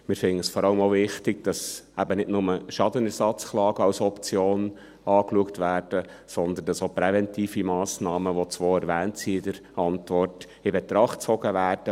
Wir finden es vor allem auch wichtig, dass eben nicht nur Schadenersatzklagen als Option angeschaut werden, sondern dass auch präventive Massnahmen, von denen zwei in der Antwort erwähnt sind, in Betracht gezogen werden.